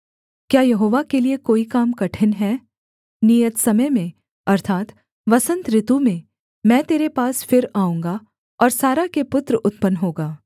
क्या यहोवा के लिये कोई काम कठिन है नियत समय में अर्थात् वसन्त ऋतु में मैं तेरे पास फिर आऊँगा और सारा के पुत्र उत्पन्न होगा